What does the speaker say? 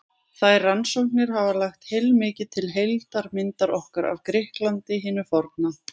Þær rannsóknir hafa lagt heilmikið til heildarmyndar okkar af Grikklandi hinu forna.